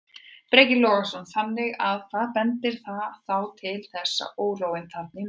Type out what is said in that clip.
Breki Logason: Þannig að, að hvað bendir það þá til þessi órói þarna í nótt?